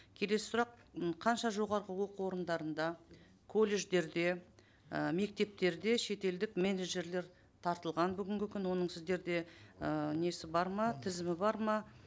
келесі сұрақ м қанша жоғарғы оқу орындарында колледждерде і мектептерде шетелдік менеджерлер тартылған бүгінгі күні оның сіздерде ыыы несі бар ма тізімі бар ма